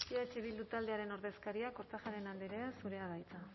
eh bildu taldearen ordezkaria kortadarena andrea zurea da hitza